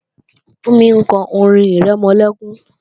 Fúnmi ń kọ́ orin-ìrẹmọlẹ́kún